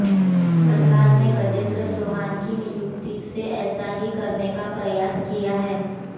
सरकार ने गजेंद्र चौहान की नियुक्ति से ऐसा ही करने का प्रयास किया है